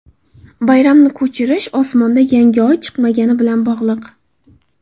Bayramni ko‘chirish osmonda yangi Oy chiqmagani bilan bog‘liq.